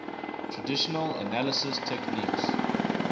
traditional analysis techniques